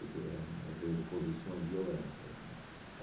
Porque eram, às vezes, posições violentas né.